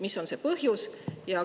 Mis on see põhjus?